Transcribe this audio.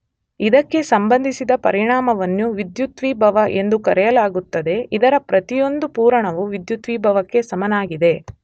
ಇದಕ್ಕೆ ಸಂಬಂಧಿಸಿದ ಪರಿಮಾಣವನ್ನು ವಿದ್ಯುದ್ವಿಭವ ಎಂದು ಕರೆಯಲಾಗುತ್ತದೆ ಇದರ ಪ್ರತಿಯೊಂದು ಪೂರಣವು ವಿದ್ಯುದ್ವಿಭವಕ್ಕೆ ಸಮನಾಗಿದೆ.